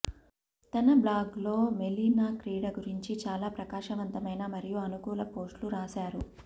తన బ్లాగ్ లో మెలీనా క్రీడ గురించి చాలా ప్రకాశవంతమైన మరియు అనుకూల పోస్ట్లు రాశారు